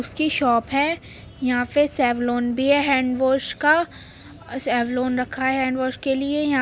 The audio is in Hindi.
उस की शॉप है। यहाँ पे सेवलॉन भी है हैंडवाश का सेवलॉन रखा है हैंडवाश के लिए यहाँ --